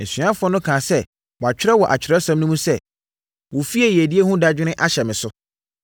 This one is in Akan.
Asuafoɔ no kaa sɛ, wɔatwerɛ wɔ Atwerɛsɛm no mu sɛ, “Wo fie yiedie ho dadwene ahyɛ me so.”